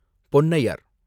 Ponnaiyar